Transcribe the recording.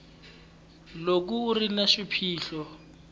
loko u ri na swiphiqo